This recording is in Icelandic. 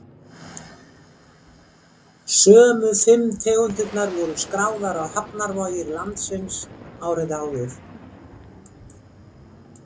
Sömu fimm tegundirnar voru skráðar á hafnarvogir landsins árið áður.